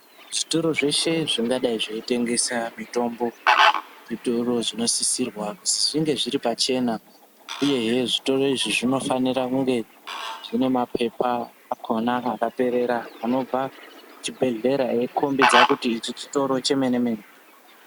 Zvitoro zveshe zvingadai zveitengesa mitombo zvinosisirwa kuti zvinge zviri pachena uyehe zvitoro izvi zvinofanira kunge zvine mapepa akhona akaperera anobva kuzvibhehlera eikhombidza kuti ichi chitoro chemene-mene.